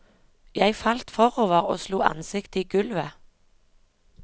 Jeg falt forover og slo ansiktet i gulvet.